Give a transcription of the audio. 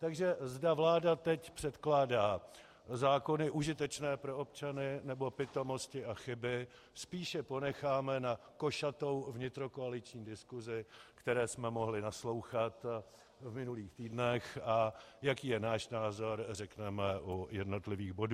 Takže zda vláda teď předkládá zákony užitečné pro občany, nebo pitomosti a chyby, spíše ponecháme na košatou vnitrokoaliční diskusi, které jsme mohli naslouchat v minulých týdnech, a jaký je náš názor, řekneme u jednotlivých bodů.